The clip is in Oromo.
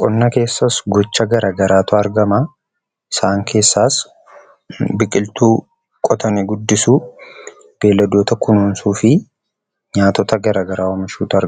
Qonna keessaas gocha garaa garaatu argama. Isaan keessaas biqiltuu qotanii guddisuu, beeyladoota kunuunsuu fi nyaatota garaa garaa oomishuu fa'aa dha.